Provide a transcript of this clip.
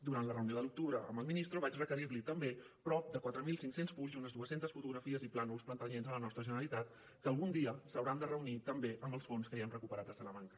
durant la reunió de l’octubre amb el ministrovaig requerir li també prop de quatre mil cinc cents fulls i unes dues centes fotografies i plànols pertanyents a la nostra generalitat que algun dia s’hauran de reunir també amb els fons que ja hem recuperat de salamanca